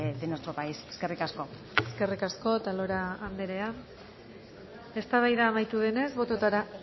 de nuestro país eskerrik asko eskerrik asko otalora anderea eztabaida amaitu denez bototara